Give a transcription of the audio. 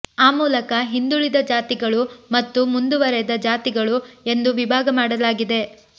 ಆ ಮೂಲಕ ಹಿಂದುಳಿದ ಜಾತಿಗಳು ಮತ್ತು ಮುಂದುವರಿದ ಜಾತಿಗಳು ಎಂದು ವಿಭಾಗ ಮಾಡಲಾಗಿದೆ